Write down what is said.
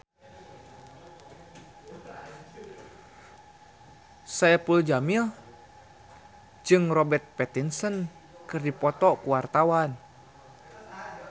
Saipul Jamil jeung Robert Pattinson keur dipoto ku wartawan